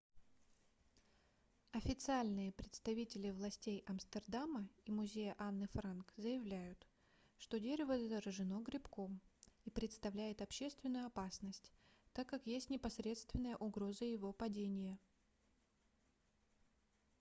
официальные представители властей амстердама и музея анны франк заявляют что дерево заражено грибком и представляет общественную опасность так как есть непосредственная угроза его падения